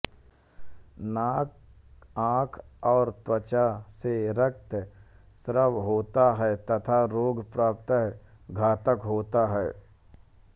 नाक आँख और त्वचा से रक्तस्राव होता है तथा रोग प्राय घातक होता है